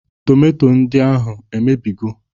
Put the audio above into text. Tomanto ndị ahụ emebigo?